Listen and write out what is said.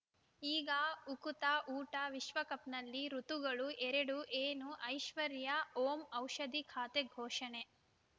ಈಗ ಉಕುತ ಊಟ ವಿಶ್ವಕಪ್‌ನಲ್ಲಿ ಋತುಗಳು ಎರಡು ಏನು ಐಶ್ವರ್ಯಾ ಓಂ ಔಷಧಿ ಖಾತೆ ಘೋಷಣೆ